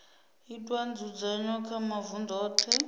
itwa nzudzanyo kha mavunḓu oṱhe